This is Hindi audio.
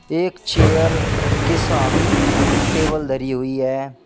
एक चेयर के सामी टेबल धरी हुई है।